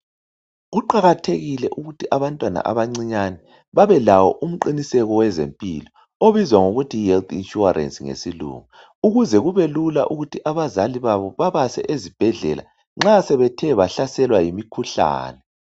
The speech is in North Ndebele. Kuqakathekile ukuthi abantwana abancinyane babelawo umqinisekiso wezempilo obizwa ngokuthi yi health insurance ngesilungu ukuze kubelula ukuthi abazali babo babase ezibhedlela nxa sebethe bahlaselwa yimikhuhlane.